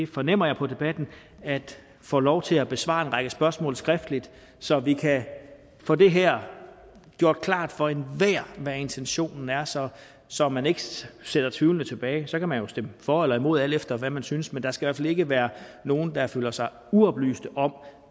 fornemmer jeg på debatten at få lov til at besvare en række spørgsmål skriftligt så vi kan få det her gjort klart for enhver hvad intentionen er så så man ikke sidder tvivlende tilbage så kan man jo stemme for eller imod alt efter hvad man synes men der skal i ikke være nogen der føler sig uoplyste om